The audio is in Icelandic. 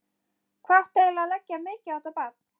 Hvað átti eiginlega að leggja mikið á þetta barn?